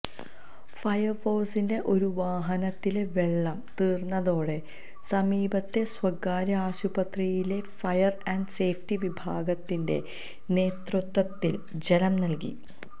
ഫയര്ഫോഴ്സിന്റെ ഒരുവാഹനത്തിലെ വെള്ളം തീര്ന്നതോടെ സമീപത്തെ സ്വകാര്യ ആശുപത്രിയിലെ ഫയര് ആന്ഡ് സേഫ്റ്റി വിഭാഗത്തിന്റെ നേതൃത്വത്തില് ജലം നല്കി